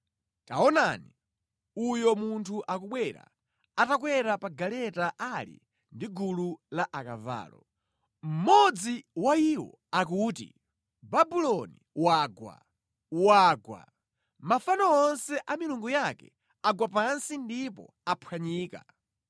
Taonani, uyo munthu akubwera atakwera pa galeta ali ndi gulu la akavalo. Mmodzi wa iwo akuti, ‘Babuloni wagwa, wagwa! Mafano onse a milungu yake agwa pansi ndipo aphwanyika!’ ”